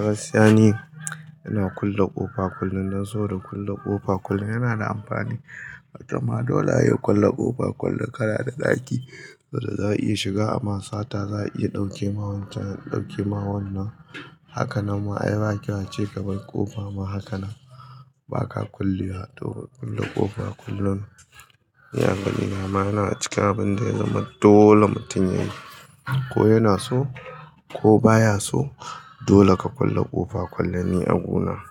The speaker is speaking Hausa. Gaskiya ni, ina kulle ƙofa kullum, dan saboda kulle ƙofa kullum yana da amfani. Kamar dole ayi kulle ƙofa kullum, kana da ɗaki saboda za a iya shiga a ma sata. Za a iya ɗauke ma wancan, ɗauke ma wannan. Hakanan ma ayi ba kyau a ce ka bar ƙofa ma haka nan. Baka kullewa, ha to ka kulle ƙofa kullum. Ni a ganina ma yana cikin abin da ya zama dole mutum yayi. Ko yana so ko baya so, dole ka kulle ƙofa kullum ni a gu na.